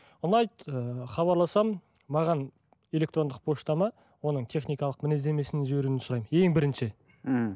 ұнайды ыыы хабарласамын маған электрондық поштама оның техникалық мінездемесін жіберуін сұраймын ең бірінші мхм